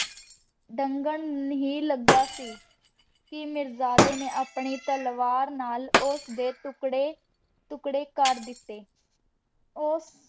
ਲੰਗਾਂ ਹੀ ਲਗਾ ਸੀ ਕੀ ਮਿਰ੍ਜ਼ਾਡੀ ਨੇ ਆਪਣੀ ਤਲਵਾਰ ਨਾਲ ਓਸਦੀ ਤੁਕ੍ਰੀ ਤੁਕ੍ਰੀ ਕਰ ਦਿਤੀ ਓਸ